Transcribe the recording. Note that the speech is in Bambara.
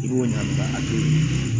I b'o ɲagami ka to yen